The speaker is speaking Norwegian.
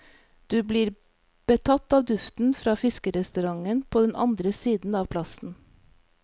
Du blir betatt av duften fra fiskerestauranten på den andre siden av plassen.